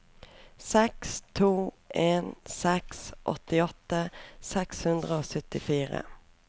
seks to en seks åttiåtte seks hundre og syttifire